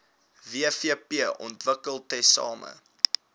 wvp ontwikkel tesame